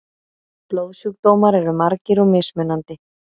Blóðsjúkdómar eru margir og mismunandi.